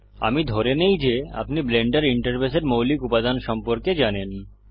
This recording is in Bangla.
আমি ধরে নেই যে আপনি ব্লেন্ডার ইন্টারফেসের মৌলিক উপাদান সম্পর্কে জানেন